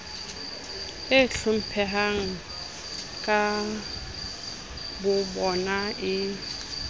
ho iphupuletsa ka bobona e